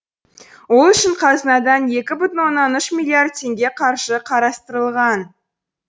ол үшін қазынадан екі бүтін оннан үш миллиард теңге қаржы қарастырылған